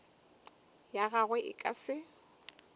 ya gagwe e ka se